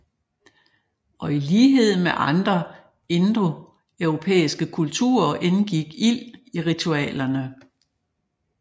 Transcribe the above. Og i lighed med andre indoeuropæiske kulturer indgik ild i ritualerne